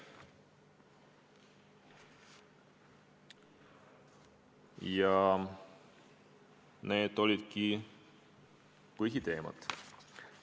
Ja need olidki põhiteemad.